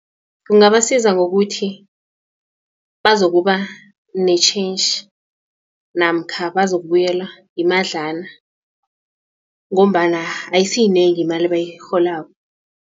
Kungabasiza ngokuthi bazokuba nentjhentjhi namkha bazokubuyelwa imadlana ngombana ayisiyinengi imali abayirholako.